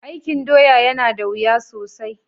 Aikin doya ya na da wuya sosai.